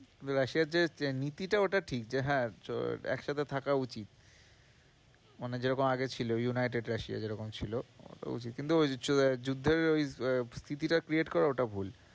রাশিয়ার যে নীতিটা ওটা ঠিক যে হ্যাঁ একসাথে থাকা উচিত মানে যেরকম আগে ছিল, ইউনাইটেড রাশিয়া যেরকম ছিল কিন্তু যুদ্ধে ওই আহ PP টা create করা ওটা ভুল।